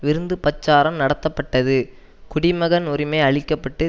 விருந்துபச்சாரம் நடத்தப்பட்டது குடிமகன் உரிமை அளிக்க பட்டு